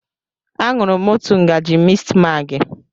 Aṅụrụ m òtù ngaji mistmaagị.